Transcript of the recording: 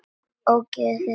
Ógeðið þitt!